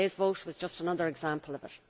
Today's vote was just another example of it.